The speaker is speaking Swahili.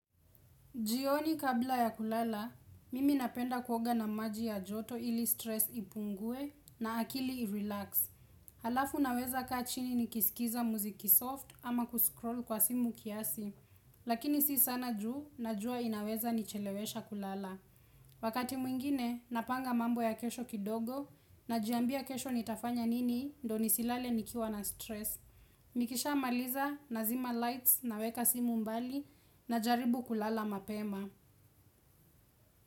Jioni kabla ya kulala, mimi napenda kuoga na maji ya joto ili stress ipungue na akili irelax. Halafu naweza kaa chini nikisikiza mziki soft ama kuscroll kwa simu kiasi, lakini si sana juu najua inaweza nichelewesha kulala. Wakati mwingine, napanga mambo ya kesho kidogo najiambia kesho nitafanya nini ndo nisilale nikiwa na stress. Nikishamaliza nazima lights naweka simu mbali najaribu kulala mapema.